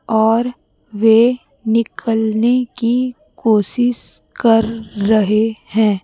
और वे निकालने की कोशिश कर रहे हैं।